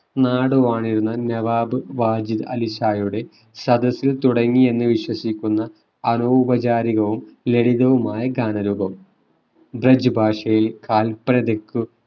നാടുവാണിരുന്ന നവാബ് വാജിത് അലി ഷായുടെ സദസ്സിൽ തുടങ്ങിയെന്നു വിശ്വസിക്കുന്ന അനൗപചാരികവും ലളിതവുമായ ഗാനരൂപം ബ്രജ് ഭാഷയിൽ കാല്പനതയ്ക്കു